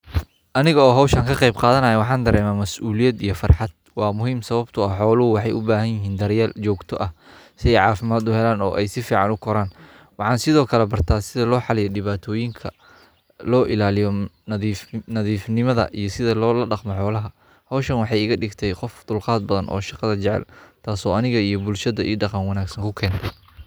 Aniga oo hoshan ka qeb qadanaya waxan dareme masuliyada iyo farxaad waa muhiim sawabto ah xolohu waxaa u bahan yihin daryel dab ah oo ee si fican u koran waxan sithokale barta sitha lo xaliyo diwatoyinka lo ilaliyo nadhif nimada iyo sitha lola daqto xolaha hoshan waxee iga digtee qof dulqaad badan oo shaqada jacel tas oo aniga iyo bulshaada daqan wanagsan kakente.